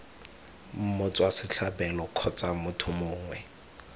motswa setlhabelo kgotsa motho mongwe